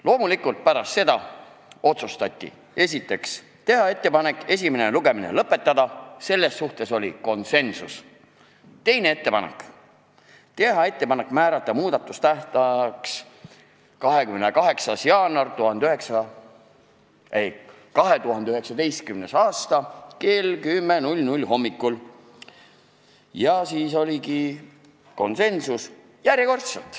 Loomulikult, pärast seda otsustati, esiteks, teha ettepanek esimene lugemine lõpetada , teine ettepanek oli teha ettepanek määrata muudatusettepanekute esitamise tähtajaks 28. jaanuar 2019 kell 10 hommikul .